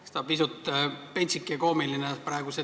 Eks see debatt siin pisut pentsik ja koomiline praegu ole.